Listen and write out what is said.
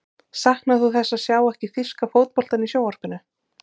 Saknar þú þess að sjá ekki þýska fótboltann í sjónvarpinu?